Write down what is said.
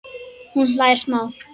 Hún hlær smá.